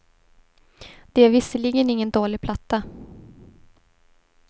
Det är visserligen ingen dålig platta.